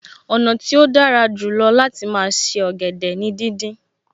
Ọ̀nà tí ó dára jù lọ láti máa se ọ̀gẹ̀dẹ̀ ni díndín